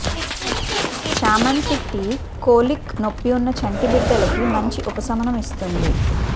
చామంతి tea colic నొప్పి ఉన్న చంటిబిడ్డలకి మంచి ఉపశమనం ఇస్తుంది